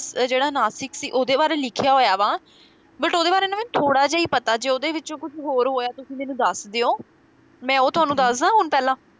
ਜਿਹੜਾ ਨਾਸਿਕ ਸੀ ਉਹਦੇ ਬਾਰੇ ਲਿਖਿਆ ਹੋਇਆ ਵਾ but ਉਹਦੇ ਬਾਰੇ ਨਾ ਮੈਨੂੰ ਥੋੜਾ ਜਿਹਾ ਹੀ ਪਤਾ ਜੇ ਉਹਦੇ ਵਿੱਚ ਕੁਝ ਹੋਰ ਤੁਸੀ ਮੈਨੂੰ ਦੱਸ ਦਿਓ, ਮੈ ਉਹ ਤੁਹਾਨੂੰ ਦੱਸਦਾ ਹੁਣ ਪਹਿਲਾਂ